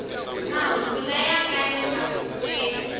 mahungu laya nga le mavokweni